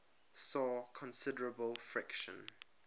saw considerable friction